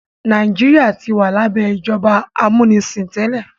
Nàìjíríà tí wà labẹ ìjọba amunisin tẹlẹ.